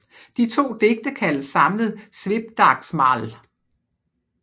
De to digte kaldes samlet Svipdagsmál